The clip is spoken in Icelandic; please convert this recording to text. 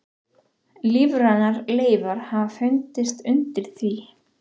Lífrænar leifar hafa fundist undir því.